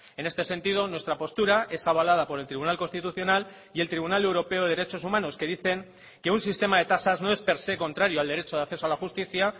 en este sentido nuestra postura es abalada por el tribunal constitucional y el tribunal europeo de derechos humanos que dicen que un sistema de tasas no es per se contrario al derecho de acceso a la justicia